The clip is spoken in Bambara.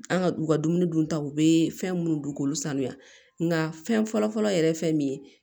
An ka u ka dumuni duntaw bɛ fɛn minnu dun k'olu sanuya nka fɛn fɔlɔfɔlɔ yɛrɛ ye fɛn min ye